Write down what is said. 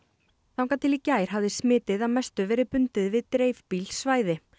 þangað til í gær hafði smitið að mestu verið bundið við dreifbýl svæði